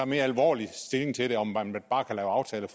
mere alvorlig stilling til om man bare kan lave aftaler